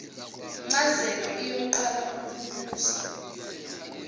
ncazelo iyoqala ukubusa